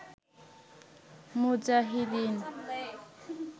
মুজাহিদীন